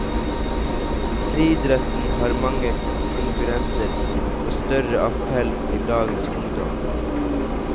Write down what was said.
Friidretten har mange konkurrenter med større appell til dagens ungdom.